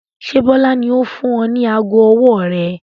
Ṣé Bọlá ni ó fún ọ ní aago ọwọ́ rẹ?